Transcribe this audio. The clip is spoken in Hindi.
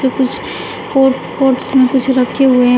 कुछ मे कुछ रखे हुए है।